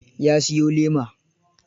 Ya siyo lema.